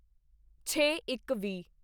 ਛੇਇੱਕਵੀਹ